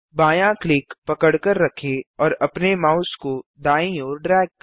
बायाँ क्लिक पकड़कर रखें और अपने माउस को दायीं ओर ड्रैग करें